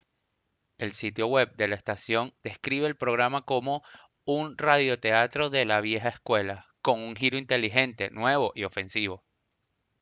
el sitio web de la estación describe al programa como «un radioteatro de la vieja escuela ¡con un giro inteligente nuevo y ofensivo!»